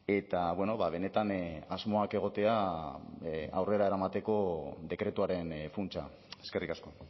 eta benetan asmoak egotea aurrera eramateko dekretuaren funtsa eskerrik asko